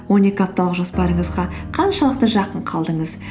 он екі апталық жоспарыңызға қаншалықты жақын қалдыңыз